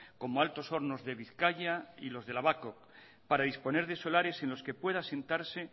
como altos hornos de bizkaia y los de la babcock para disponer de solares en los que pueda sentarse